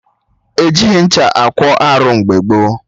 E jighị ncha ekwo arụ mgbe gboo